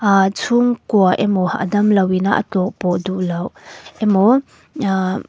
aa chhungkua emaw a damlo ina a tlawhpawh duhloh emaw ahh --